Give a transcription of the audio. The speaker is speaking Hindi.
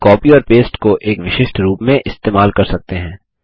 हम कॉपी और पेस्ट को एक विशिष्ट रूप में इस्तेमाल कर सकते हैं